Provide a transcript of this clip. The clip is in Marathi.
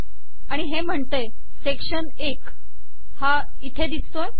आणि हे म्हणते सेकशन 1एक हा इथे दिसतोय